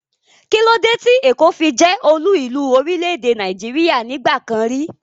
Kílódé tí èkó fi jẹ́ olú ìlú orílẹ̀-èdè Nàìjíríà nígbà kan rí?